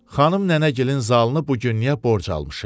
Xanım nənəgilin zalını bu gün niyə borc almışıq?